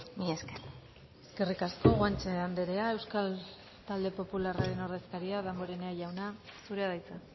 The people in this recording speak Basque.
mila esker eskerrik asko guanche andrea euskal talde popularraren ordezkaria damborenea jauna zurea da hitza